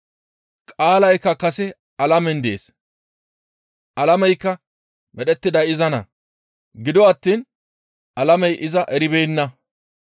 Qaalaykka kase alamen dees; alameykka medhettiday izanna. Gido attiin alamey iza eribeenna.